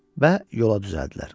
Və yola düzəldilər.